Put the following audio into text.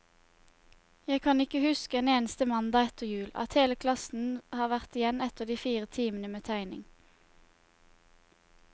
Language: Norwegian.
Jeg kan ikke huske en eneste mandag etter jul, at hele klassen har vært igjen etter de fire timene med tegning.